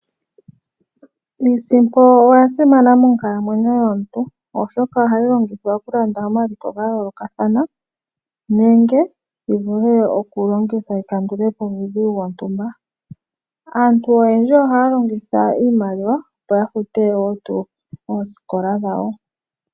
Iisimpo oyasimana monkalamwenyo yomuntu oshoka ohayi longithwa okulanda omaliko gayoolokathana nenge yivule okulongithwa yikandule po uudhigu wontumba. Aantu oyendji ohaya longitha iimaliwa opo yafute wo tuu oosikola dhawo.